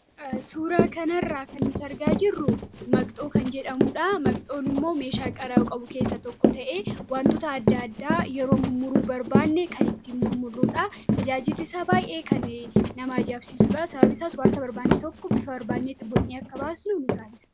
suuraa kanarraa kan nutargaa jirru maqxoo kan jedhamuudha maqxoon immoo meeshaa qaraa qabu keessa tokko ta'e wantoota adda addaa yeroo mumuruu barbaannee kan itti murmurruudha tajaajilisaa baayee kan namaa jaabsisuudha sababisaas wanta barbaannee tokko bifa barbaanneetti boo'nee akka baasnuu nu taansa